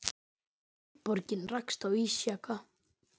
Eldborgin rakst á ísjaka